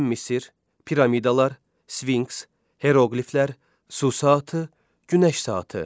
Qədim Misir, piramidalar, sfinks, heroqliflər, su saatı, günəş saatı.